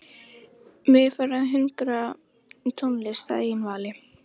Mig er farið að hungra í tónlist að eigin vali.